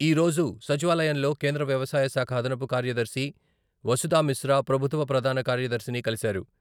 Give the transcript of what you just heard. ఈరోజు సచివాలయంలో కేంద్ర వ్యవసాయశాఖ అదనపు కార్యదర్శి వసుదామిశ్రా ప్రభుత్వ ప్రధాన కార్యదర్శిని కలిసారు.